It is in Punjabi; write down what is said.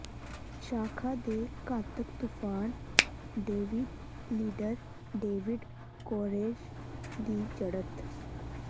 ਸ਼ਾਖ਼ਾ ਦੇ ਘਾਤਕ ਤੂਫਾਨ ਡੇਵਿਡਯ ਲੀਡਰ ਡੇਵਿਡ ਕੋਰੇਸ਼ ਦੀ ਜੜਤ